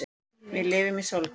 Við lifum í sólkerfi.